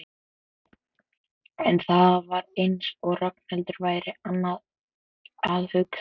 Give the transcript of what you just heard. En það var eins og Ragnhildur væri annað að hugsa.